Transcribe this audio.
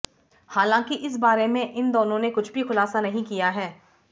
हालांकि इस बारे में इन दोनों ने कुछ भी खुलासा नहीं किया है